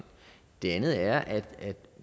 det andet er at